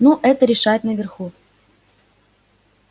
ну это решают наверху